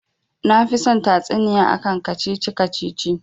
Nafi son tatsuniya akan kacici-kacici